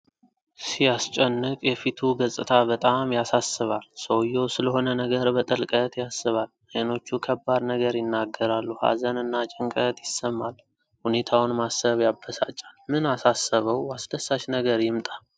ሲያስጨንቅ! የፊቱ ገፅታ በጣም ያሳስባል። ሰውዬው ስለሆነ ነገር በጥልቀት ያስባል። ዓይኖቹ ከባድ ነገር ይናገራሉ። ሀዘን እና ጭንቀት ይሰማል። ሁኔታውን ማሰብ ያበሳጫል። ምን አሳሰበው? አስደሳች ነገር ይምጣ።